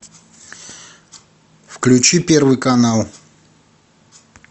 включи первый канал